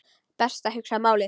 Best að hugsa málið.